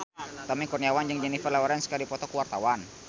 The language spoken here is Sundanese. Tommy Kurniawan jeung Jennifer Lawrence keur dipoto ku wartawan